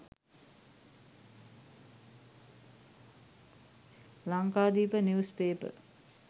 lankadeepa news paper